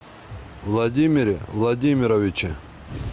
владимире владимировиче